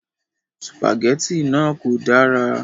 Sìpàgẹ́tì náà kò dára.